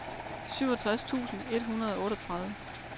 syvogtres tusind et hundrede og otteogtredive